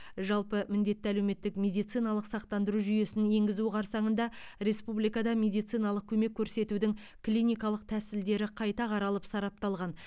жалпы міндетті әлеуметтік медициналық сақтандыру жүйесін енгізу қарсаңында республикада медициналық көмек көрсетудің клиникалық тәсілдері қайта қаралып сарапталған